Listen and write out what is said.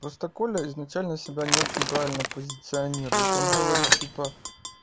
просто коля изначально себя не очень правильно позиционирует он говорит типа